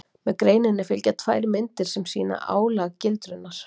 með greininni fylgja tvær myndir sem sýna álagildrurnar